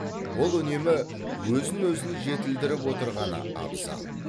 ол үнемі өзін өзін жетілдіріп отырғаны абзал